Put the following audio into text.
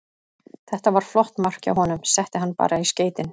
Þetta var flott mark hjá honum, setti hann bara í skeytin.